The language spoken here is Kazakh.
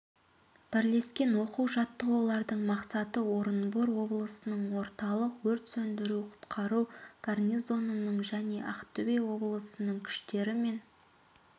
бірлескен оқу жаттығулардың мақсаты орынбор облысының орталық өрт сөндіру-құтқару гарнизонының және ақтөбе облысының күштері мен